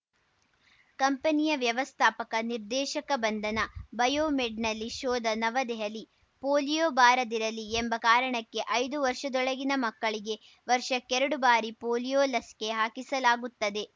ಕಂಪನಿಯ ವ್ಯವಸ್ಥಾಪಕ ನಿರ್ದೇಶಕ ಬಂಧನ ಬಯೋಮೆಡ್‌ನಲ್ಲಿ ಶೋಧ ನವದೆಹಲಿ ಪೋಲಿಯೋ ಬಾರದಿರಲಿ ಎಂಬ ಕಾರಣಕ್ಕೆ ಐದು ವರ್ಷದೊಳಗಿನ ಮಕ್ಕಳಿಗೆ ವರ್ಷಕ್ಕೆರಡು ಬಾರಿ ಪೋಲಿಯೋ ಲಸಿಕೆ ಹಾಕಿಸಲಾಗುತ್ತದೆ